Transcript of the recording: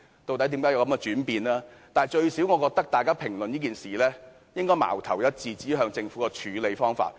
但是，無論如何，我覺得大家評論這件事應矛頭一致，指向政府的處理方法。